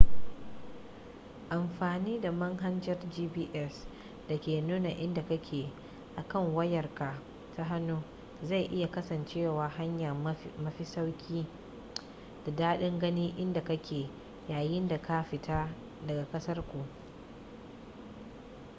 amfani da manhajar gps da ke nuna inda kake a kan wayar ka ta hannu zai iya kasancewa hanya mafi sauki da daɗin gane inda kake yayin da ka fita daga ƙasar ku